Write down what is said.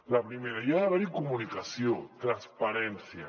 la primera hi ha d’haver comunicació transparència